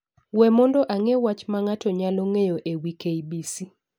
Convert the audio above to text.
we mondo ang’e wach ma ng’ato nyalo ng’eyo e wi k. b. c.